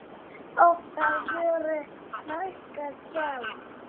Oft á vöru lækkað gjald.